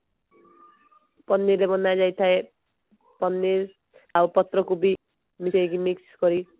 ପନିର ରେ ବନା ଯାଇଥାଏ ପନିର ଆଉ ପତ୍ରକୋବି ମିଶେଇକି mix କରି